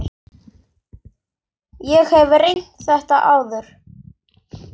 Ég hef reynt þetta áður.